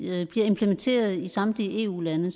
dette bliver implementeret i samtlige eu lande